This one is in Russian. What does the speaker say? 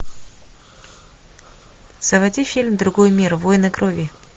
заводи фильм другой мир войны крови